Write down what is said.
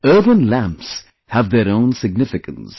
Earthen lamps have their own significance